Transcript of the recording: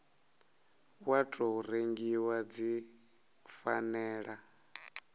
wa tou rengiwa dzi fanela